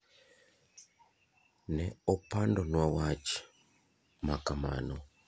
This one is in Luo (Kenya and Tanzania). Ne opando nwa wach makamano.